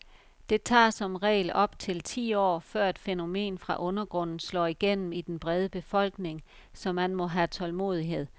Det tager som regel op til ti år, før et fænomen fra undergrunden slår igennem i den brede befolkning, så man må have tålmodighed.